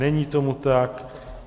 Není tomu tak.